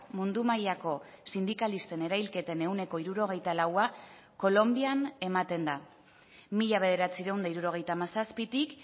mundu mailako sindikalisten erailketen ehuneko hirurogeita laua kolonbian ematen da mila bederatziehun eta hirurogeita hamazazpitik